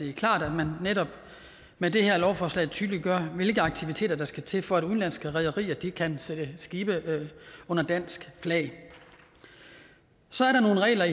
er klart at man netop med det her lovforslag tydeliggør hvilke aktiviteter der skal til for at udenlandske rederier kan sætte skibe under dansk flag så er der nogle regler